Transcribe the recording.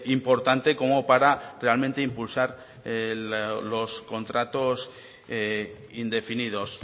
importante como para realmente impulsar los contratos indefinidos